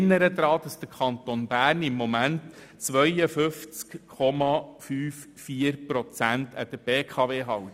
Ich erinnere daran, dass der Kanton derzeit 52,54 Prozent der BKW-Aktien hält.